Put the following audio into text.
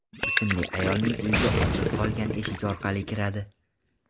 ismli ayolning uyiga ochiq qolgan eshik orqali kiradi.